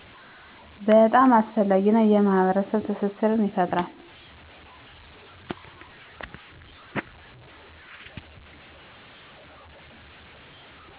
በጣም አስፈላጊ ነው የማህበረሰብ ትስስርን ይፈጥራል